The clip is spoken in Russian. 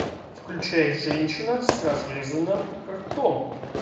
включай женщина с разрезанным ртом